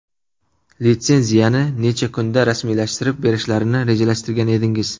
Litsenziyani necha kunda rasmiylashtirib berishlarini rejalashtirgan edingiz?